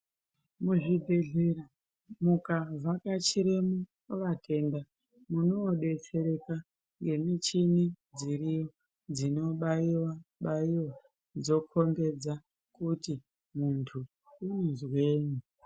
Muzvibhedhlera mukavhakachiremo kuvatenda munoobetsereka ngemichini dziriyo dzinobaiwa baiwa dzokombedza kuti muntu unozweyi.